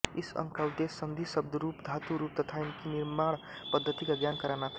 इस अंग का उद्देश्य सन्धि शब्दरूप धातुरूप तथा इनकी निर्माणपद्धति का ज्ञान कराना था